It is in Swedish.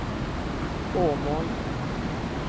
Åmål